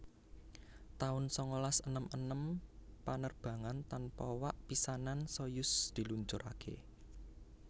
taun sangalas enem enem Panerbangan tanpa wak pisanan Soyuz diluncuraké